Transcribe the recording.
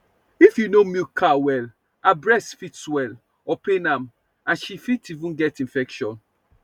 if you no milk cow well her breast fit swell or pain am and she fit even get infection